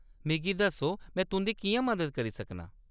मिगी दस्सो में तुंʼदी किʼयां मदद करी सकनां ?